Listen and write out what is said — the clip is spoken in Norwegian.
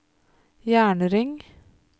jernring